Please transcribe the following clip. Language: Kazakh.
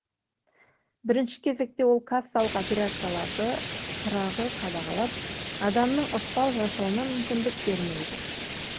бірінші кезекте ол кассалық операцияларды қырағы қадағалап адамның ықпал жасауына мүмкіндік бермейді